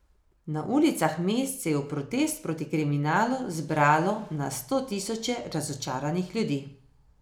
Na ulicah mest se je v protest proti kriminalu zbralo na sto tisoče razočaranih ljudi.